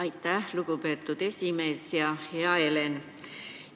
Aitäh, lugupeetud esimees ja hea Helen!